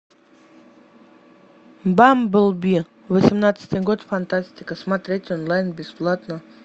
бамблби восемнадцатый год фантастика смотреть онлайн бесплатно